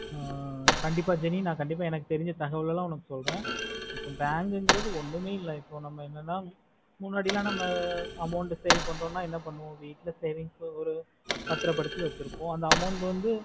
கண்டிப்பா jeni எனக்கு தெரிஞ்ச தகவல்ல உனக்கு சொல்றேன் இப்போ bank குறது ஒண்ணுமே இல்ல இப்போ நம்ம என்னனா முன்னாடில நம்ம amount save பண்றோம்னா என்ன பண்ணுவோம் வீட்டுல savings ல பத்ரா படுத்தி வெச்சிருப்போம் அந்த amount வந்து